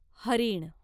हरीण